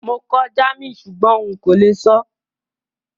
Mo kọ́ German súgbón n kó le sọ́